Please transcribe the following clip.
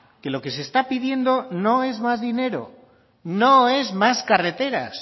que lo que se está pidiendo no es más dinero no es más carreteras